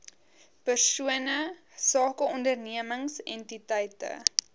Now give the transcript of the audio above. persone sakeondernemings entiteite